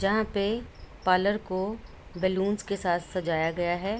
जहां पे पार्लर को बलूंस के साथ सजाया गया है।